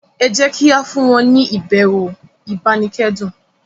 ejẹ kí a fún wọn ni ibẹwò ibanikẹdun